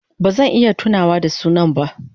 Ba zan iya tunawa da sunan ba.